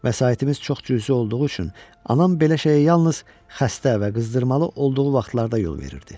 Vəsaitimiz çox cüzi olduğu üçün anam belə şeyə yalnız xəstə və qızdırmalı olduğu vaxtlarda yol verirdi.